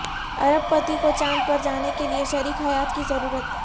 ارب پتی کو چاند پر جانے کے لیے شریک حیات کی ضرورت